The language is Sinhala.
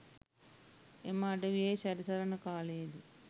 එම අඩවියෙහි සැරිසරණ කාලයේදී